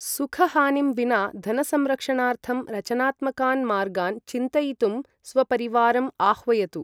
सुखहानिं विना धनसंरक्षणार्थं रचनात्मकान् मार्गान् चिन्तयितुं स्वपरिवारम् आह्वयतु।